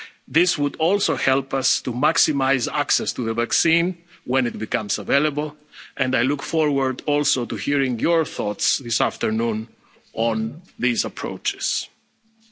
Union. This would also help us to maximise access to the vaccine when it becomes available and I look forward to hearing your thoughts on these approaches this